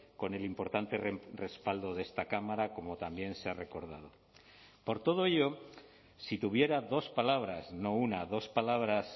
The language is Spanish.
con el importante respaldo de esta cámara como también se ha recordado por todo ello si tuviera dos palabras no una dos palabras